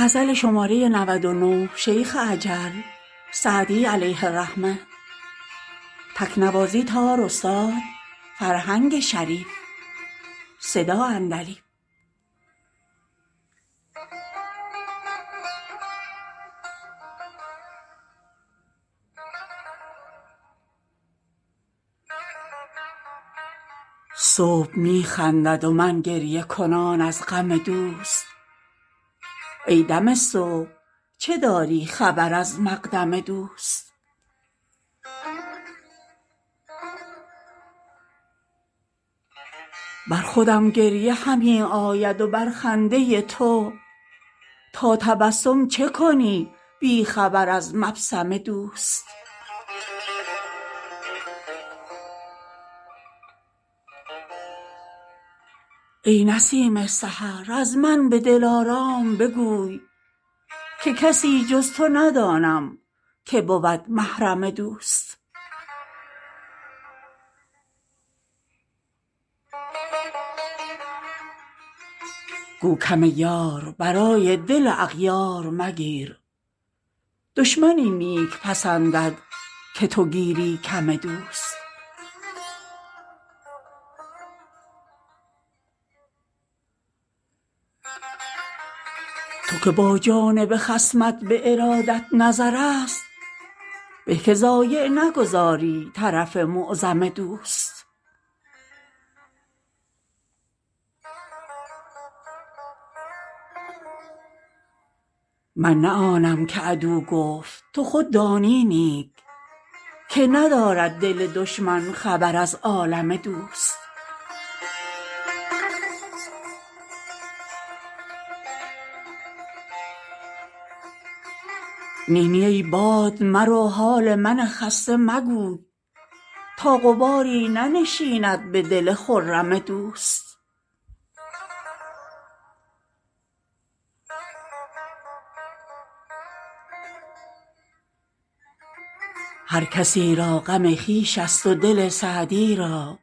صبح می خندد و من گریه کنان از غم دوست ای دم صبح چه داری خبر از مقدم دوست بر خودم گریه همی آید و بر خنده تو تا تبسم چه کنی بی خبر از مبسم دوست ای نسیم سحر از من به دلارام بگوی که کسی جز تو ندانم که بود محرم دوست گو کم یار برای دل اغیار مگیر دشمن این نیک پسندد که تو گیری کم دوست تو که با جانب خصمت به ارادت نظرست به که ضایع نگذاری طرف معظم دوست من نه آنم که عدو گفت تو خود دانی نیک که ندارد دل دشمن خبر از عالم دوست نی نی ای باد مرو حال من خسته مگوی تا غباری ننشیند به دل خرم دوست هر کسی را غم خویش ست و دل سعدی را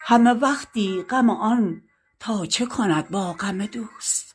همه وقتی غم آن تا چه کند با غم دوست